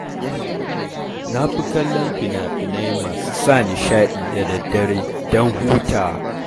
Na fi kallon fina-finai masu sa nishaɗi da daddare don hutawa.